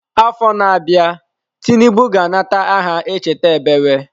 Afọ na-abịa Tinubu ga-anata aha Echeta ebewe.